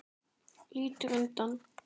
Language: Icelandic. Lítur undan.